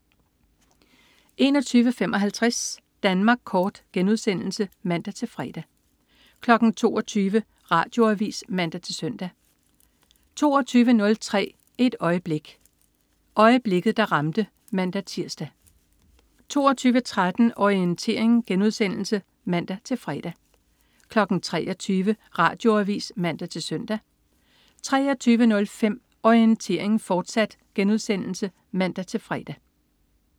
21.55 Danmark Kort* (man-fre) 22.00 Radioavis (man-søn) 22.03 Et øjeblik. Øjeblikket, der ramte (man-tirs) 22.13 Orientering* (man-fre) 23.00 Radioavis (man-søn) 23.05 Orientering, fortsat* (man-fre)